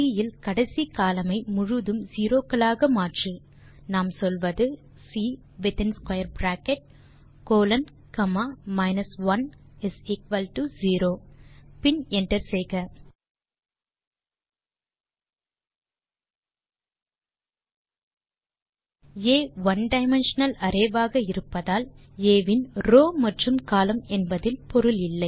C இல் கடைசி column ஐ முழுவதும் செரோ க்களாக மாற்று நாம் சொல்வது C within square bracket colon comma minus 1 0 பின் என்டர் செய்க ஆ ஒனே டைமென்ஷனல் ஆக இருப்பதால் ஆ இன் ரவ்ஸ் மற்றும் கோலம்ன் என்பதில் பொருள் இல்லை